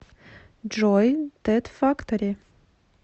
джой тэд фактори